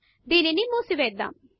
దానిని ముసివెద్దమ్